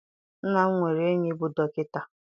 Nna m nwere enyi bụ dọkịta.